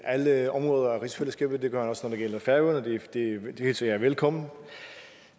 alle områder af rigsfællesskabet det gør han også når det gælder færøerne og det hilser jeg velkommen